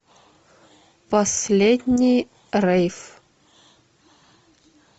последний рейв